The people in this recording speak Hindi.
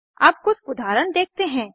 अब कुछ उदाहरण देखते हैं